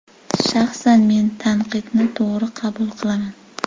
Shaxsan men tanqidni to‘g‘ri qabul qilaman.